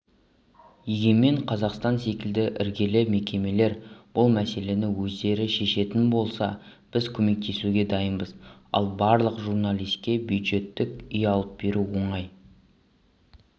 егемен қазақстан секілді іргелі мекемелер бұл мәселені өздері шешетін болса біз көмектесуге дайынбыз ал барлық журналиске бюджеттік үй алып беру оңай